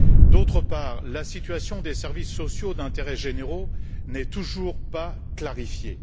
D'autre part, la situation des services sociaux d'intérêt général n'est toujours pas clarifiée.